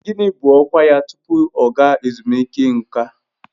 Gịnị bụ ọkwa ya tupu ọ ga ezumike nká?